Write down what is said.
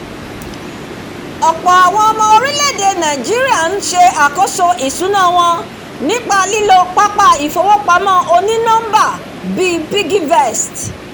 ọ̀pọ̀ ọmọ orílè-èdè nàìjíríà ń ṣe àkóso ìṣúná wọn nípa lílo pápá ìfowópamọ́ oní-nọ́mbà bíi piggyvest